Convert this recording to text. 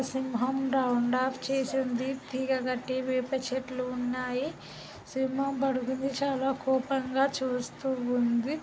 సింహం round off చేసింది వేప చెట్లు ఉన్నాయి సింహం పడుకుంది. చాలా కోపంగా చేస్తూ ఉంది.